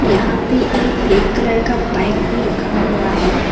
यहां पे एक ब्लैक कलर का बाइक भी रखा हुआ है।